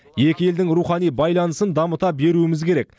екі елдің рухани байланысын дамыта беруіміз керек